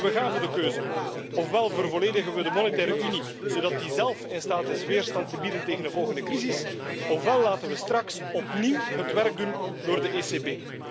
We staan voor de keuze ofwel vervolledigen we de monetaire Unie, zodat die zelf in staat is weerstand te bieden tegen de volgende crisis, ofwel laten we straks opnieuw het werk doen door de ECB.